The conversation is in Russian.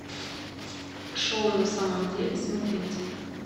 шоу на самом деле смотреть